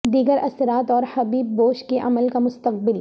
دیگر اثرات اور حبیب بوش کے عمل کا مستقبل